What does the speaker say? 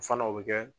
O fana o bɛ kɛ